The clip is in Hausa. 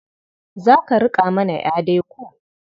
Za ka riƙa mana ƴa dai ko?